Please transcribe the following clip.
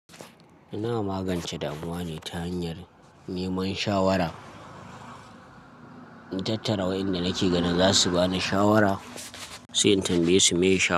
Ina magance damuwa ne ta hanyar neman shawara. Na tattara wayanda nake ganin za su ba ni shawara, sai in tambaye su meye shawara.